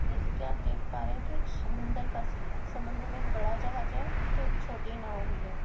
जैसे की आप देख पा रहे हैं की एक समुन्दर का सीन है समुन्दर में एक बड़ा जहाज है तो एक छोटी नाव भी है।